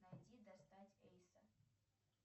найти достать эйса